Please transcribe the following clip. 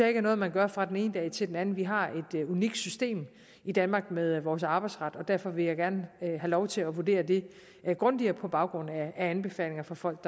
ikke er noget man gør fra den ene dag til den anden vi har et unikt system i danmark med vores arbejdsret og derfor vil jeg gerne have lov til at vurdere det grundigere på baggrund af anbefalinger fra folk